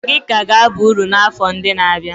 Magi ka ga-aba uru n'afọ ndị na-abịa.